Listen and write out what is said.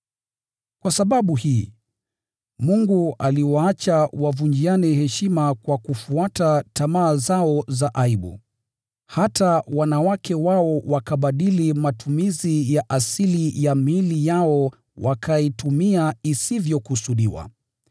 Kwa sababu hii, Mungu aliwaacha wavunjiane heshima kwa kufuata tamaa zao za aibu. Hata wanawake wao wakabadili matumizi ya asili ya miili yao wakaitumia isivyokusudiwa.